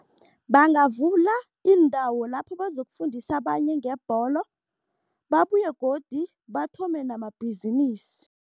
Bangavula iindawo lapho bazokufundisa abanye ngebholo, babuye godu bathome namabhizinisi.